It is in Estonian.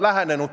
Aitäh!